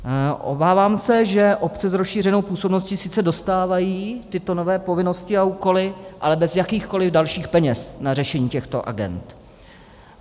Obávám se, že obce s rozšířenou působnosti sice dostávají tyto nové povinnosti a úkoly, ale bez jakýchkoliv dalších peněz na řešení těchto agend.